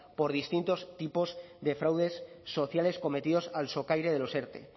por distintos tipos de fraudes sociales cometidos al socaire de los erte